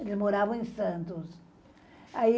Eles moravam em Santos. Ai